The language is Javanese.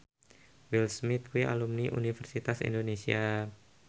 Will Smith kuwi alumni Universitas Indonesia